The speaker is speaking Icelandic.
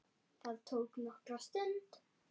Það tók nokkra stund.